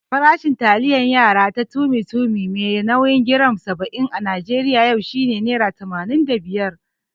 Farashin taliyar yara ta Tummy Tummy mai nauyin giram saba'in a Najeriya yau shine nera tamanin da biyar.